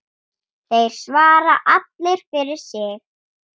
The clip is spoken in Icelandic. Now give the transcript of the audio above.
Þeir svara allir fyrir sig.